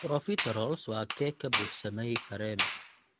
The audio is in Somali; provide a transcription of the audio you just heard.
profiteroles waa keeg ka buuxsamay kareem.